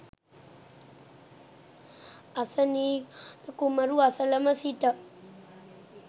අසනීඝාත කුමරු අසලම සිට